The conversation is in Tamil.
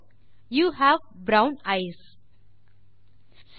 யூ ஹேவ் ப்ரவுன் ஐஸ் சரி